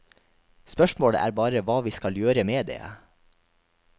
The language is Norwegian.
Spørsmålet er bare hva vi skal gjøre med det.